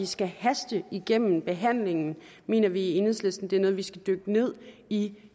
skal hastes igennem behandlingen mener vi i enhedslisten det er noget hvor vi skal dykke ned i